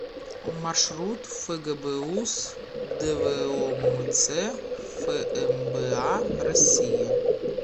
маршрут фгбуз двомц фмба россии